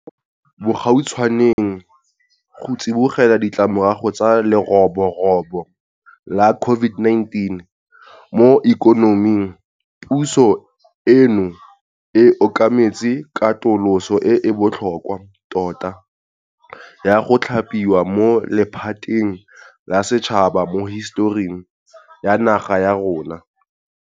Mo bogautshwaneng, go tsibogela ditlamorago tsa leroborobo la COVID-19 mo ikonoming, puso eno e okametse katoloso e e botlhokwa tota ya go thapiwa mo lephateng la setšhaba mo hisetoring ya naga ya rona.